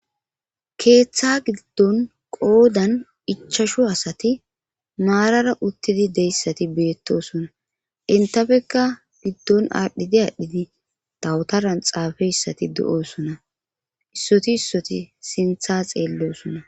keeththa giddon qoodan ichashu asati maarara uttidi deyssati beettosona intafekka giddon aadhdhidi aadhdhidi dawutaran xaafe issati do7osona issoti issoti sintha xeellosona.